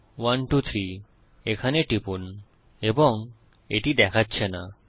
123 এখানে টিপুন এবং এটি দেখাচ্ছে না